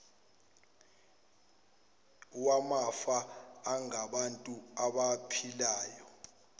wamafa angabantu abaphilayo